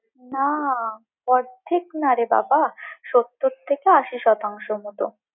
না! অর্ধেক না রে বাবা, সত্তর থেকে আশি শতাংশর মত।